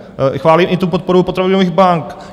Chválím i tu podporu potravinových bank.